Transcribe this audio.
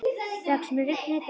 Rex, mun rigna í dag?